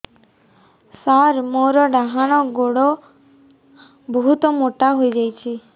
ସାର ମୋର ଡାହାଣ ଗୋଡୋ ବହୁତ ମୋଟା ହେଇଯାଇଛି